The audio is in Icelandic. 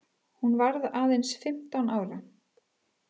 Hún varð aðeins fimmtán ára.